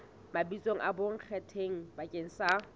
mabitso a bonkgetheng bakeng sa